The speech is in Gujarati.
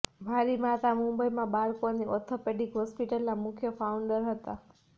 મારી માતા મુંબઈમાં બાળકોની ઓર્થોપેડિક હોસ્પિટલના મુખ્ય ફાઉન્ડર હતા